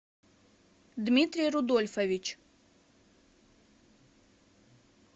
дмитрий рудольфович